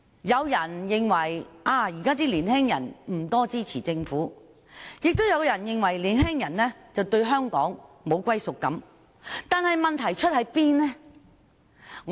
有人認為現今的年青人不支持政府，也有人認為年青人對香港沒有歸屬感，但問題出自何處？